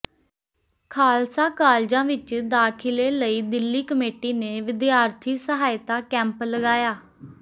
ਖਾਲਸਾ ਕਾਲਜਾਂ ਵਿਚ ਦਾਖਿਲੇ ਲਈ ਦਿੱਲੀ ਕਮੇਟੀ ਨੇ ਵਿਦਿਆਰਥੀ ਸਹਾਇਤਾ ਕੈਂਪ ਲਗਾਇਆ